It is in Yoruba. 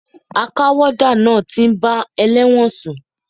A ká wọ́dà náà ti ń bá elẹ́wọ̀n sùn.